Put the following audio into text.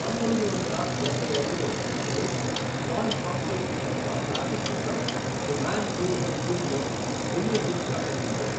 పంతొమ్మిది వందల డబ్బై ఐదులో, అతను జాన్ హాస్టన్ యొక్క క్లాసిక్ చిత్రం the man who would be king లో బిల్లీ ఫిష్ గా కనిపించారు .